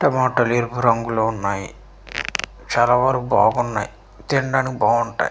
టమోటాలు ఎరుపు రంగు లో ఉన్నాయి చాలా వరకు బాగున్నాయి తినడానికి బాగుంటాయి.